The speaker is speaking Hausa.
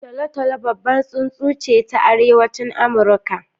Tolo-tolo babbar tsuntsu ce ta Arewacin Amurka.